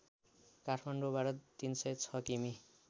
काठमाण्डौँबाट ३०६ किमि